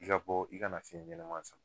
I ka bɔ i ka na fiɲɛ ɲanaman sama.